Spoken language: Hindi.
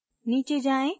नीचे जाएँ